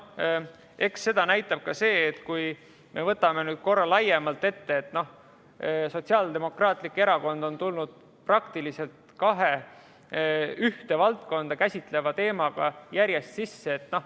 Eks seda näitab ka see, et kui me võtame nüüd korra laiemalt ette, siis Sotsiaaldemokraatlik Erakond on tulnud praktiliselt kahe ühte valdkonda käsitleva teemaga järjest sisse.